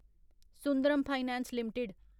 Sundaram finance limited